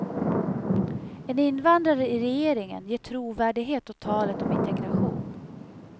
En invandrare i regeringen ger trovärdighet åt talet om integration.